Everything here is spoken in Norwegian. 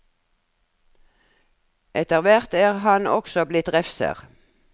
Etter hvert er han også blitt refser.